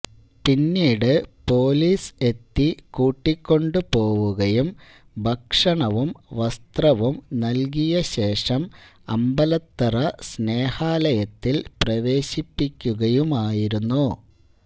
പിന്നീട് പൊലീസ് എത്തി കൂട്ടിക്കൊണ്ടുപോവുകയും ഭക്ഷണവും വസ്ത്രവും നല്കിയ ശേഷം അമ്പലത്തറ സ്നേഹാലയത്തില് പ്രവേശിപ്പിക്കുകയുമായിരുന്നു